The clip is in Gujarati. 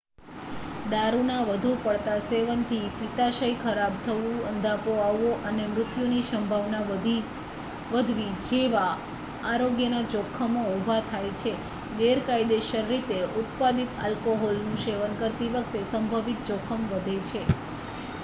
દારૂના વધુ પડતા સેવનથી પિત્તાશય ખરાબ થવું અંધાપો આવવો અને મૃત્યુની સંભાવના વધવી જેવા આરોગ્યના જોખમો ઉભા થાય છે ગેરકાયદેસર રીતે ઉત્પાદિત આલ્કોહોલનું સેવન કરતી વખતે સંભવિત જોખમ વધે છે